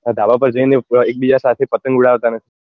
ધાબા પર જઈ ને એક બીજા સાથે પતંગ ઉડાવતા નથી